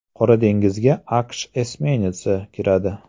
Qora dengizga AQSh esminetsi kiradi.